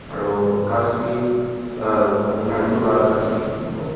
aro ghas bi ah narcol la ghas bi ekta dikhibo.